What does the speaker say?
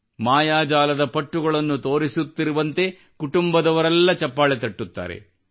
ಮಾಯಾಜಾಲದ ಪಟ್ಟುಗಳನ್ನು ತೋರಿಸುತ್ತಿರುವಂತೆ ಕುಟುಂಬದವರೆಲ್ಲ ಚಪ್ಪಾಳೆ ತಟ್ಟುತ್ತಾರೆ